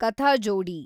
ಕಥಾಜೋಡಿ